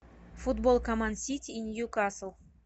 футбол команд сити и ньюкасл